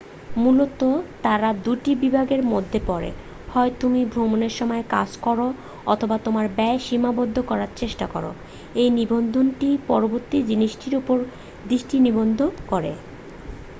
মূলত তাঁরা দুটি বিভাগের মধ্যে পড়েঃ হয় তুমি ভ্রমনের সময় কাজ করো অথবা তোমার ব্যয় সীমাবদ্ধ করার চেষ্টা করো এই নিবন্ধটি পরবর্তী জিনিসটির উপর দৃষ্টি নিবদ্ধ করে